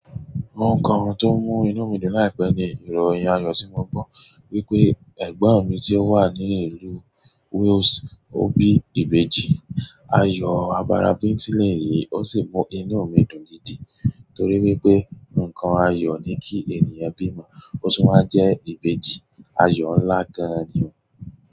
Mo ń kọ ohun tó mú inú mi dùn láìpẹ́ nì ìrọ̀ ẹ̀yàn ayọ̀ tí mo gbọ́ wípé ẹ̀gbọ́n mi tí ó wà ní ìlú Wales ó bí ìbejì. Ayò àbàrá bintin nì yìí ó sì mú inú mi dùn gidi torí wípé ǹkan ayọ̀ ni kí ènìyàn bímọ, ó sì wá jẹ́ ìbejì. Àyọ nlá gan-an ni o.